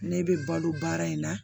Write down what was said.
Ne bɛ balo baara in na